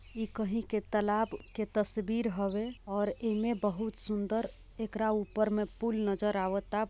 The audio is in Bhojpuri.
इ कही के तलाब के तस्वीर हवे और एहिमे बोहोत सुंदर इकरा ऊपर मे पूल नजर आवता |